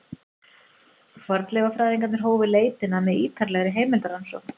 Fornleifafræðingarnir hófu leitina með ýtarlegri heimildarannsókn.